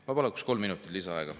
Ma paluks kolm minutit lisaaega.